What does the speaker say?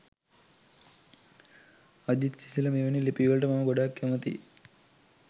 අජිත් සිසිල මෙවැනි ලිපිවලට මම ගොඩාක් කැමති